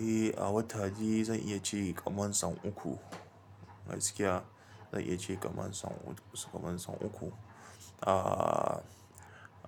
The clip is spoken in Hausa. Eh, a wata dai zan iya ce kaman sau uku. Gaskiya zan iya ce ƙamancan uku. Ah,